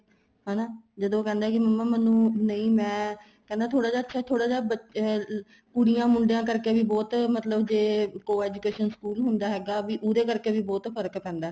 ਹੈਨਾ ਜਦੋਂ ਉਹ ਕਹਿੰਦਾ ਕੀ ਮੰਮਾ ਮੈਨੂੰ ਨਹੀਂ ਮੈਂ ਕਹਿੰਦਾ ਥੋੜਾ ਜਾ ਅੱਛਾ ਏ ਥੋੜਾ ਜਾ ਅਹ ਕੁੜੀਆਂ ਮੁੰਡਿਆਂ ਕਰਕੇ ਵੀ ਬਹੁਤ ਮਤਲਬ ਜ਼ੇ Coeducation ਸਕੂਲ ਹੁੰਦਾ ਹੈਗਾ ਵੀ ਉਹਦੇ ਕਰਕੇ ਵੀ ਬਹੁਤ ਫ਼ਰਕ ਪੈਂਦਾ